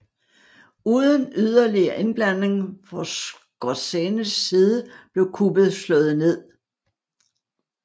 Uden yderligere indblanding fra Skorzenys side blev kuppet slået ned